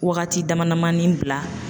Wagati damadamanin bila